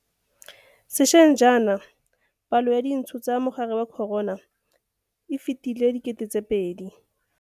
Se šweng jaana, palo ya dintsho tsa mogare wa corona e fetile 2 000.